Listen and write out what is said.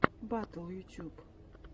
батл ютюб